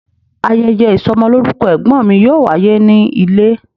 Ayeye isomoloruko egbon mi yoo waye ni ile